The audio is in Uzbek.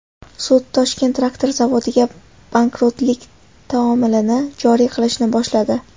Sud Toshkent traktor zavodiga bankrotlik taomilini joriy qilishni boshladi.